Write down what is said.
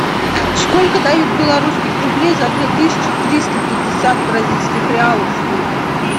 сколько дают белорусских рублей за две тысячи триста пятьдесят бразильских реалов сегодня